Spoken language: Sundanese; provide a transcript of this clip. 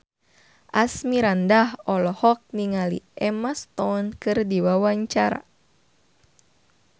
Asmirandah olohok ningali Emma Stone keur diwawancara